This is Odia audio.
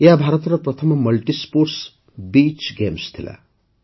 ଏହା ଭାରତର ପ୍ରଥମ ମଲ୍ଟି ସ୍ପୋର୍ଟସ୍ ବିଚ୍ ଗେମ୍ସ ଥିଲା